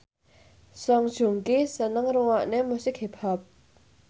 Song Joong Ki seneng ngrungokne musik hip hop